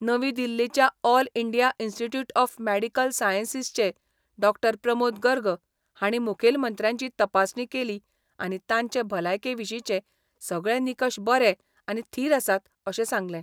नवी दिल्लीच्या all India institute of medical सायन्सीसचे डॉ प्रमोद गर्ग हांणी मुखेलमंत्र्यांची तपासणी केली आनी तांचे भलायके विशींचे सगळे निकश बरे आनी थीर आसात अशें सांगलें.